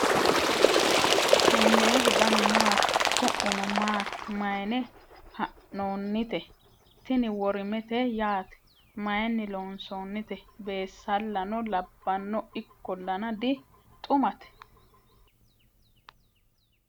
tennehu danu maati? su'muno maati? maayinni haa'noonnite ? tini worimete yaate . mayinni loonsoonnite ? beessallano labbanno .ikkollana di xumate .